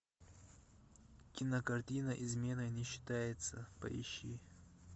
кинокартина изменой не считается поищи